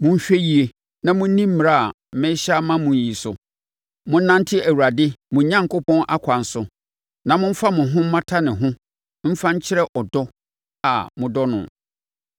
Monhwɛ yie na monni mmara a merehyɛ ama mo yi so; monnante Awurade, mo Onyankopɔn, akwan so na momfa mo ho mmata ne ho mfa nkyerɛ ɔdɔ a modɔ no.